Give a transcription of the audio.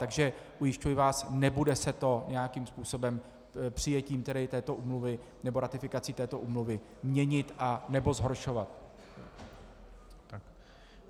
Takže ujišťuji vás, nebude se to nějakým způsobem přijetím této úmluvy nebo ratifikací této úmluvy měnit nebo zhoršovat.